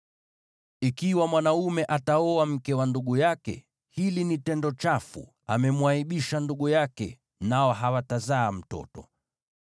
“ ‘Ikiwa mwanaume ataoa mke wa ndugu yake, hili ni tendo chafu; amemwaibisha ndugu yake. Nao hawatazaa mtoto.